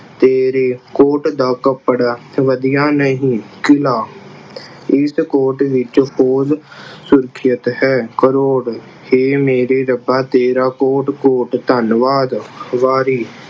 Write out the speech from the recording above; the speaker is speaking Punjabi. ਤੇਰੇ coat ਦਾ ਕੱਪੜਾ ਵਧੀਆ ਨਹੀਂ। ਇਸ ਕੋਟ ਵਿੱਚ ਸੁਰੱਖਿਅਤ ਹੈ। ਕਰੋੜ ਹੇ ਮੇਰੇ ਰੱਬਾ ਤੇਰਾ ਕੋਟਿ ਕੋਟਿ ਧੰਨਵਾਦ। ਬਾਰੀ